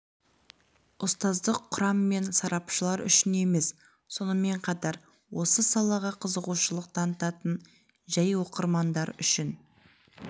ұстаздық құрам мен сарапшылар үшін емес сонымен қатар осы салаға қызығушылық танытатын жәй оқырмандар үшін